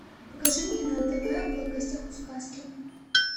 покажи мне на тв в гостях у сказки